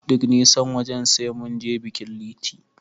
Duk nisan wajen, sai mun je bikin Liti.